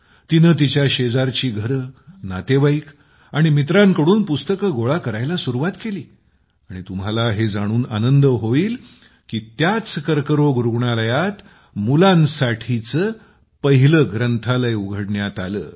तिने तिच्या शेजारची घरे नातेवाईक आणि मित्रांकडून पुस्तके गोळा करण्यास सुरुवात केली आणि तुम्हाला हे जाणून आनंद होईल की त्याच कर्करोग रुग्णालयात मुलांसाठीचे पहिले ग्रंथालय उघडण्यात आले